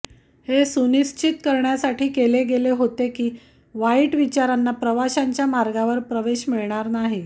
हे सुनिश्चित करण्यासाठी केले गेले होते की वाईट विचारांना प्रवाशांच्या मार्गावर प्रवेश मिळणार नाही